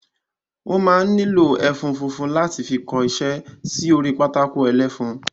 Wọ́n máa ń nílò ẹfun funfun láti fi kọsẹ́ sí orí pátákó ẹlẹ́fun